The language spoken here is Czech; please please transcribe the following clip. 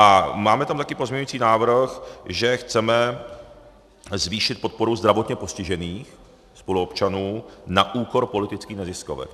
A máme tam také pozměňovací návrh, že chceme zvýšit podporu zdravotně postižených spoluobčanů na úkor politických neziskovek.